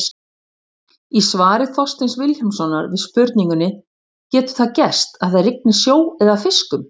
Í svari Þorsteins Vilhjálmssonar við spurningunni Getur það gerst að það rigni sjó eða fiskum?